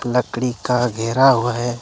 लकड़ी का घेरा हुआ है।